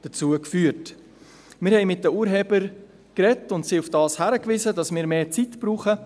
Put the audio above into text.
Wir sprachen mit den Urhebern und wiesen sie darauf hin, dass wir mehr Zeit benötigen.